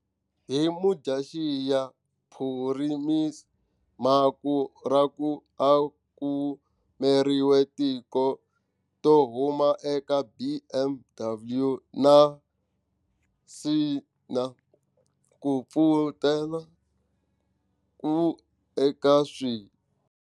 Hi Mudyaxihi, Phurimiya Makhura a kumeriwe tiko to huma eka BMW na Nissan ku pfutena ku aka swi.